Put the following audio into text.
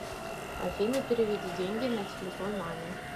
афина переведи деньги на телефон маме